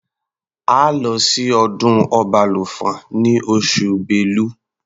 A lọ sí ọdún Ọbalùfọ̀n ní oṣù Bélu.